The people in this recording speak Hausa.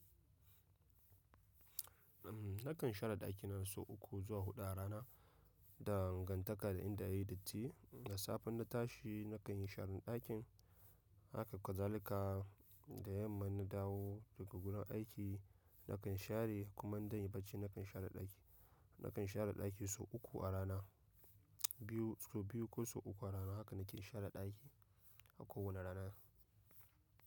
Nakan share ɗaki na sau uku zuwa huɗu a rana. Da gantaka da in da yayi datti. Da safe na tashi nakan yi sharan ɗakin, haka kwazalika da yamma na dawo daga gurin aiki nakan share kuma in zanyi bacci nakan share ɗaki. Nakan share ɗaki sau uku a rana, biyu sau biyu ko sau uku a rana. Haka nike share ɗaki a kowane rana.